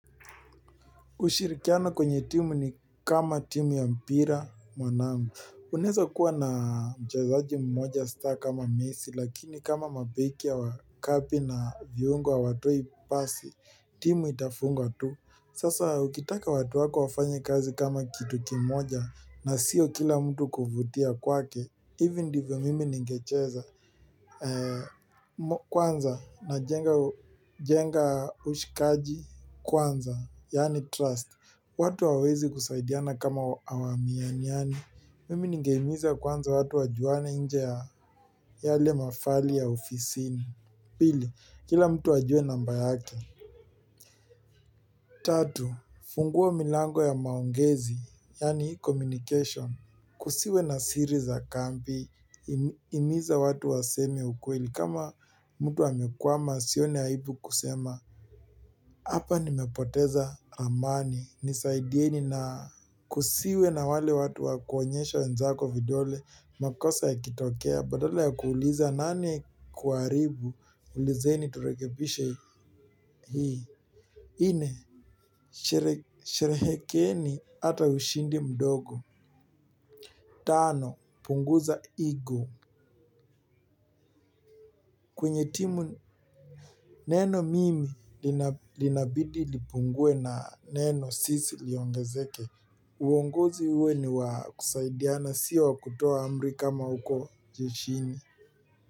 Ushirikiano kwenye timu ni kama timu ya mpira mwanamu. Unaweza kuwa na mchezaji mmoja star kama messi lakini kama mabeki ya wakapi na viungwa hawatoi pasi timu itafungwa tu. Sasa ukitaka watu wako wafanya kazi kama kitu kimoja na sio kila mtu kuvutia kwake ivyo ndivyo mimi ningecheza kwanza najenga ushikaji kwanza, yani trust, watu hawawezi kusaidiana kama awaminiani, mimi ningehimiza kwanza watu wajuane nje ya yale mafali ya ofisini. Pili, kila mtu ajue namba yake. Tatu, fungua milango ya maongezi, yaani communication. Kusiwe na siri za kambi, himiza watu waseme ukweli. Kama mtu amekwama asione aibu kusema hapa nimepoteza ramani, nisaidieni na kusiwe na wale watu wakuonyesha wenzako vidole, makosa yakitokea, badala ya kuuliza nani kuharibu, ulizeni turekebishe hii. Nne, sherehekeni ata ushindi mdogo. Tano, punguza ego. Kwenye timu neno mimi linabidi lipungue na neno sisi liongezeke. Uongozi uwe niwa kusaidiana sio wa kutoa amri kama huko jeshini.